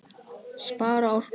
Spara orku.